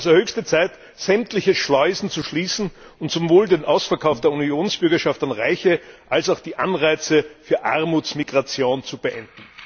Es ist also höchste Zeit, sämtliche Schleusen zu schließen und sowohl den Ausverkauf der Unionsbürgerschaft an Reiche als auch die Anreize für Armutsmigration zu beenden.